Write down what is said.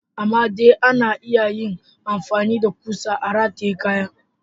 Amma dai ana iya yin amfani da kusa a rataye kaya.